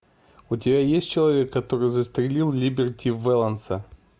у тебя есть человек который застрелил либерти вэланса